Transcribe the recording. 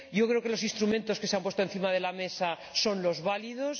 Yo creo que los instrumentos que se han puesto encima de la mesa son los válidos.